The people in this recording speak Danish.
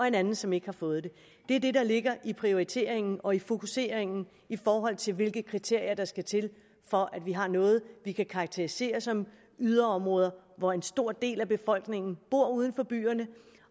en anden som ikke har fået det det er det der ligger i prioriteringen og fokuseringen i forhold til hvilke kriterier der skal til for at vi har noget vi kan karakterisere som yderområder hvor en stor del af befolkningen bor uden for byerne